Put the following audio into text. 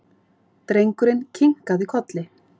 Drengurinn kinkaði kolli.